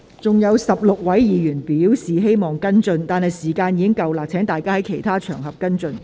尚有16位議員正在輪候提問，但這項口頭質詢的時限已到，請各位議員在其他場合跟進。